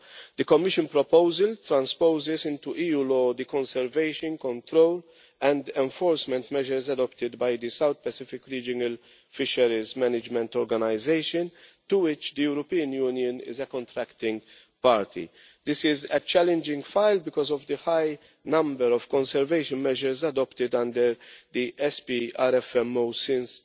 The Commission proposal transposes into EU law the conservation control and enforcement measures adopted by the South Pacific Regional Fisheries Management Organisation, to which the European Union is a contracting party. This is a challenging file because of the high number of conservation measures adopted under the SPRFMO since